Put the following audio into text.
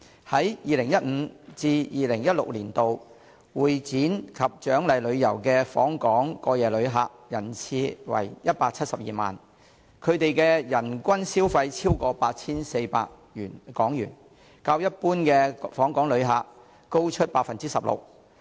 在 2015-2016 年度，會展及獎勵旅遊的訪港過夜旅客人次為172萬，他們的人均消費超過 8,400 港元，較一般訪港旅客高出百分之十六。